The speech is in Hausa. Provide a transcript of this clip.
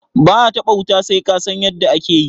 ba a taba wuta sai ka San yadda ake yi